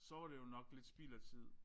Så var det jo nok lidt spild af tid